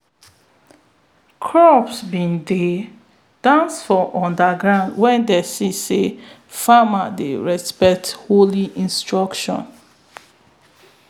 crops be dey dance for underground wen dey see say farmers dey respect holy instructions.